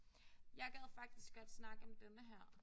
Jeg gad faktisk godt snakke om denne her